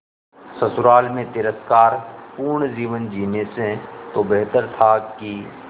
ससुराल में तिरस्कार पूर्ण जीवन जीने से तो बेहतर था कि